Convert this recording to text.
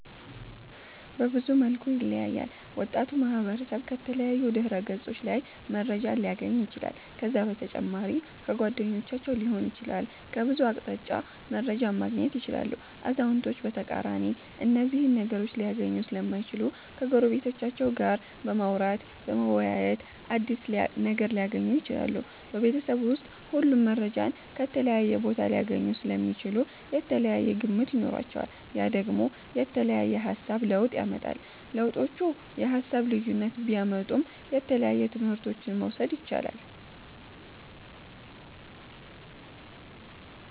በብዙ መልኩ ይለያያል ወጣቱ ማህበረሰብ ከተለያዩ ድህረ ገፆች ላይ መረጃን ሊያገኝ ይችላል ከዛ በተጨማሪ ከጓደኞቻቸዉ ሊሆን ይችላል ከብዙ አቅጣጫ መረጃን ማገኘት ይችላሉ አዛዉነቶች በተቃራኒ እነዚህን ነገሮች ሊያገኙ ሰለማይችሉ ከጎረቤቶቻቸዉ ጋር በማዉራተ በመወያየት አዲስ ነገር ሊያገኙ ይችላሉ። ቤበተሰብ ዉስጥ ሁሉም መረጃን ከተለያየ ቦታ ሊያገኙ ሰለሚችሉ የተለያየ ግምት ይኖራቸዋል ያ ደግሞ የተለያየ የሃሳብ ለዉጥ ያመጣል። ለዉጦቹ የሃሳብ ልዩነት ቢያመጡም የተለያየ ትምህረቶችን መዉሰድ የቻላል